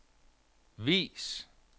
vis